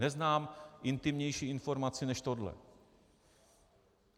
Neznám intimnější informace než tohle.